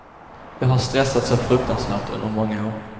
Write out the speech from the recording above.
Jag har stressat så fruktansvärt under många år.